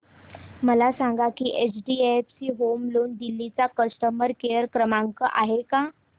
मला सांगा की एचडीएफसी होम लोन दिल्ली चा कस्टमर केयर क्रमांक आहे का